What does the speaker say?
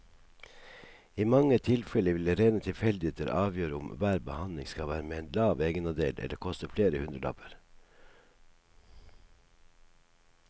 I mange tilfeller vil rene tilfeldigheter avgjøre om hver behandling skal være med lav egenandel eller koste flere hundrelapper.